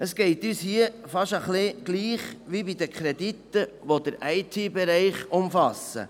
Es geht uns hier fast ein wenig so wie bei den Krediten, die den IT-Bereich betreffen.